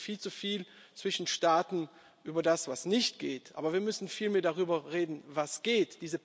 Wir reden viel zu viel zwischen Staaten über das, was nicht geht, aber wir müssen viel mehr darüber reden, was geht.